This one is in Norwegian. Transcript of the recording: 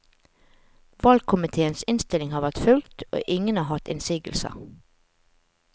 Valgkomitéens innstilling har vært fulgt, og ingen har hatt innsigelser.